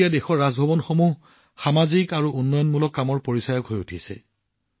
এতিয়া দেশৰ ৰাজভৱনসমূহক সামাজিক আৰু উন্নয়নমূলক কামৰ সৈতে চিনাক্ত কৰা হৈছে